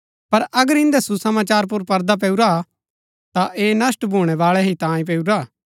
पर अगर इन्दै सुसमाचार पुर पर्दा पैऊरा हा ता ऐह नष्‍ट भूणैवाळै ही तांयें पैऊरा हा